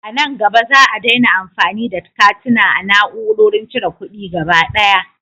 A nan gaba, Za a daina amfani da katuna a na'urorin cire kuɗi gaba daya.